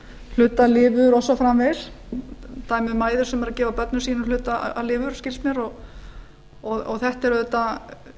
hluta af lifur og svo framvegis dæmi um mæður sem eru að gefa börnum sínum hluta af lifur skilst mér og þetta er auðvitað